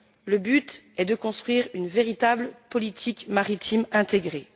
Le but est de construire une véritable politique maritime intégrée.